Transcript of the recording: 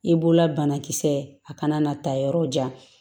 I bolola banakisɛ a kana na taa yɔrɔ jan